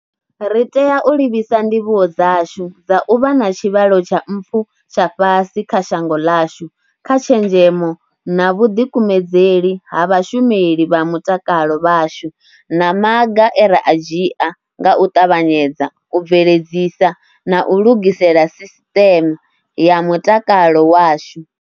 Ri tea u livhisa ndivhuwo dzashu dza u vha na tshivhalo tsha mpfu tsha fhasi kha shango ḽashu kha tshenzhemo na vhuḓikumedzeli ha vhashumeli vha mutakalo vhashu na maga e ra a dzhia nga u ṱavhanyedza u bveledzisa na u lugisela sisiṱeme ya mutakalo washu.